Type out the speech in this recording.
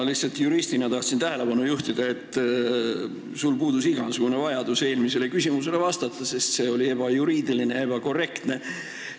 Ma lihtsalt juristina tahtsin tähelepanu juhtida, et sul puudus igasugune vajadus eelmisele küsimusele vastata, sest see oli ebajuriidiline ja ebakorrektne.